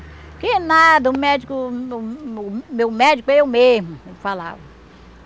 Porque nada, o médico, o o o meu médico é eu mesmo, falava.